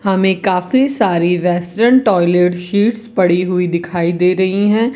हमें काफी सारी वेस्टर्न टॉयलेट सीट्स पड़ी हुई दिखाई दे रही हैं।